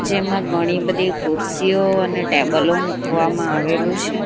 જેમાં ઘણી બધી ખુરશીઓ અને ટેબલો મૂકવામાં આવેલું છે.